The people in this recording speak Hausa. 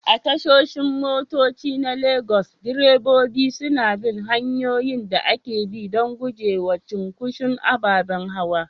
A tashoshin motoci na Legas, direbobi suna bin hanyoyin da ake bi don gujewa cunkoson ababen hawa.